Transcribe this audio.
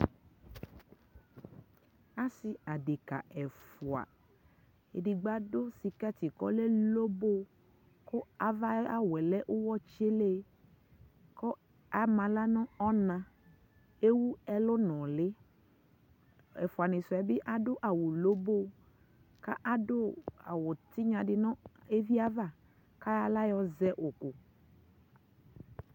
asii adɛka ɛƒʋa, ɛdigbɔ adʋ skirti kʋ ɔlɛ lɔbɔɔ kʋ aɣaɛ ayi awʋɛ ɔlɛ tsɛlɛ kʋ ama ala nʋ ɔna, ɛwʋ ɛlʋ nʋli, ɛƒʋa ni sʋɛ bi adʋ awʋ lɔbɔɔ kʋ adʋ awʋ tinya di nʋ ɛvi aɣa, ayɔ ala yɔ sɛ ɔkʋ